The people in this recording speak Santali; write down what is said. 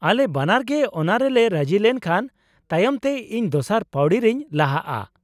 ᱟᱞᱮ ᱵᱟᱱᱟᱨ ᱜᱮ ᱚᱱᱟᱨᱮᱞᱮ ᱨᱟᱹᱡᱤ ᱞᱮᱱᱠᱷᱟᱱ ᱛᱟᱭᱚᱢ ᱛᱮ ᱤᱧ ᱫᱚᱥᱟᱨ ᱯᱟᱹᱣᱲᱤ ᱨᱤᱧ ᱞᱟᱦᱟᱜᱼᱟ ᱾